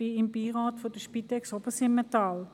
Ich bin im Beirat des Spitex-Vereins Obersimmental.